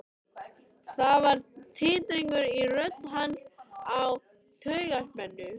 Það var titringur í rödd hans af taugaspennu.